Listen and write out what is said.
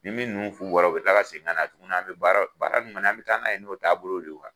Ni min nun bɔra o bɛ tila ka segin tuguni an bɛ baara baara ninnu kɔni an bɛ taa n'a ye n'o taabolo de ye